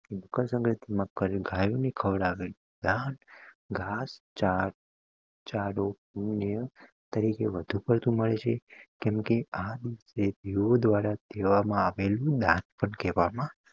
મકર સંક્રાંતિ માં ગાયું ને ખવડાવે ઘાસ, ચાર, ચારો તરીકે વધુ પરતું પડે છે કેમકે આ દિવસે દેવો દ્વારા કહેવામાં આવેલું દાન પણ કહેવામા